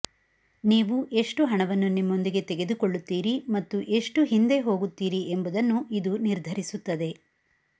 ನೀವು ಎಷ್ಟು ಹಣವನ್ನು ನಿಮ್ಮೊಂದಿಗೆ ತೆಗೆದುಕೊಳ್ಳುತ್ತೀರಿ ಮತ್ತು ಎಷ್ಟು ಹಿಂದೆ ಹೋಗುತ್ತೀರಿ ಎಂಬುದನ್ನು ಇದು ನಿರ್ಧರಿಸುತ್ತದೆ